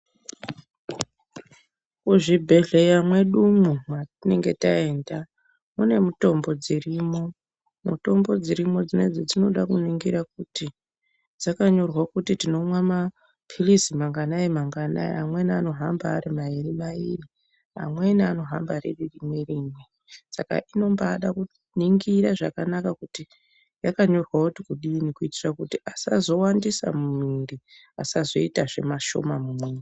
Kuzvibhedhleya mwedumwo mwatinenge taenda mune mutombo dzirimwo, mutombo dzirimwo dzinedzi dzinoda kuningirwa kuti dzakanyorwa kuti tinomwa mapirizi manganai manganai amweni anohamba ari mairi mairi, amweni anohamba riri rimwe rimwe saka tinombaada kunatsoningira zvakanaka kuti yakanyorwa kuti kudini kuitira kuti asazowandisa mumuwiri asazoitazve mashoma mumuwiri.